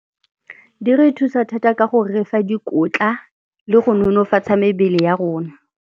Di re thusa thata ka go re fa dikotla le go nonofatsa mebele ya rona.